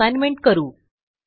आता असाइनमेंट करू